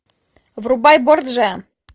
врубай борджиа